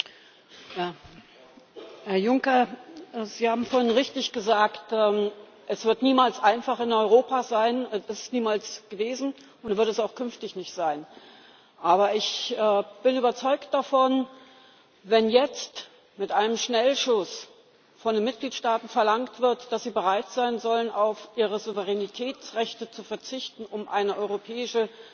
Herr Präsident! Herr Juncker, Sie haben vorhin richtig gesagt Es wird niemals einfach in Europa sein, das ist es niemals gewesen und wird es auch künftig nicht sein. Aber ich bin überzeugt davon Wenn jetzt mit einem Schnellschuss von den Mitgliedstaaten verlangt wird, dass sie bereit sein sollen, auf ihre Souveränitätsrechte zu verzichten, um eine europäische